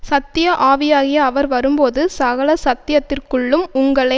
சத்தியஆவியாகிய அவர் வரும்போது சகல சத்தியத்திற்குள்ளும் உங்களை